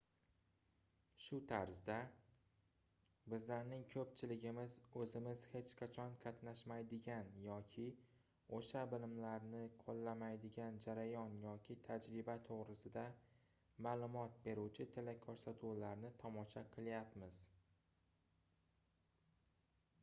shu tarzda bizlarning koʻpchiligimiz oʻzimiz hech qachon qatnashmaydigan yoki oʻsha bilimlarni qoʻllamaydigan jarayon yoki tajriba toʻgʻrisida maʼlumot beruvchi telekoʻrsatuvlarni tomosha qilyapmiz